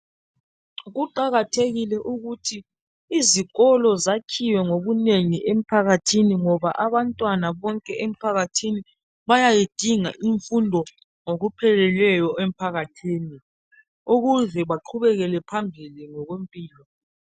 Kuqakathekile ukuthi izikolo zakhiwe ngobunengi emphakathini ngoba abantwana bonke bayayidinga imfundo ngokupheleleyo emphakathini ukuze baqhubeke phambili ngokwempilo